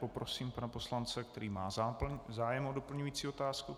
Poprosím pana poslance, který má zájem o doplňující otázku.